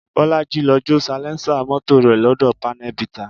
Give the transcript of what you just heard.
Bolaji lọ jó salẹńsà mọ́tò rẹ̀ lọ́dọ̀ panel beater